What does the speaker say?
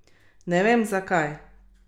Ne vem, zakaj!